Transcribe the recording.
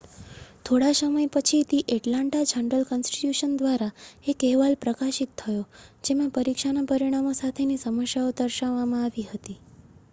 થોડા સમય પછી ધી એટલાન્ટા જર્નલ-કન્સ્ટિટ્યુશન દ્વારા એક અહેવાલ પ્રકાશિત થયો જેમાં પરીક્ષાના પરિણામો સાથેની સમસ્યાઓ દર્શાવવામાં આવી હતી